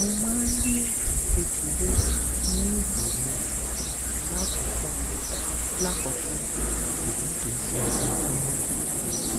mo máa ń rí ẹjẹ kékeré ní ìtoẹ mi lákòókò lákòókò ṣùgbọn kìí ṣe ojoojúmọ